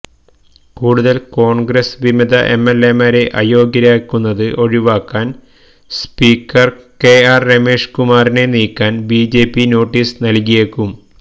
കൂടുതല് കോണ്ഗ്രസ് വിമത എംഎല്എമാരെ അയോഗ്യരാക്കുന്നത് ഒഴിവാക്കാന് സ്പീക്കര് കെആര് രമേഷ് കുമാറിനെ നീക്കാന് ബിജെപി നോട്ടീസ് നല്കിയേക്കും